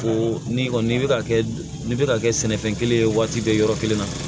O ni kɔni n'i bɛ ka kɛ n'i bɛ ka kɛ sɛnɛfɛn kelen ye waati bɛɛ yɔrɔ kelen na